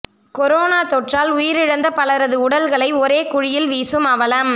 corona தொற்றால் உயிரிழந்த பலரது உடல்களை ஒரே குழியில் வீசும் அவலம்